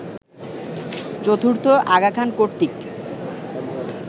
চতুর্থ আগা খান কর্তৃক